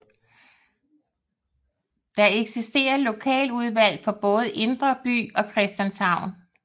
Der eksisterer lokaludvalg for både Indre By og Christianshavn